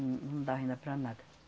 Não, não dava ainda para nada.